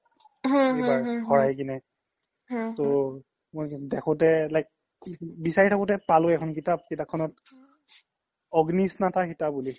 তৌ মই দেখোতে like বিছাৰি থাকোতে পালো এখ্ন কিতাপ কিতাপখনত অগ্নি স্নতা সিতা বুলি